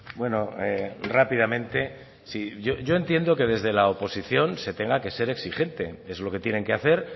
bueno rápidamente yo entiendo que desde la oposición se tenga que ser exigente es lo que tienen que hacer